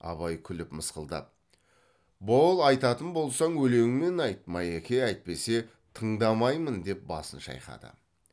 абай күліп мысқылдап бол айтатын болсаң өлеңмен айт майеке әйтпесе тыңдамаймын деп басын шайқады